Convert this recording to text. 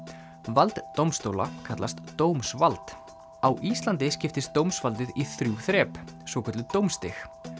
vald dómstóla kallast dómsvald á Íslandi skiptist dómsvaldið í þrjú þrep svokölluð dómsstig